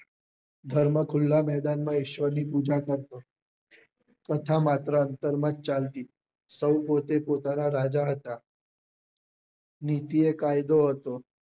ધર્મ ખુલ્લા મેદાન માં ઈશ્વર ની પૂજા કરતો કથા માત્ર અંતર માં જ ચાલતી સૌ પોતે પોતાના રાજા હતા નીતિ એ કાયદો હતો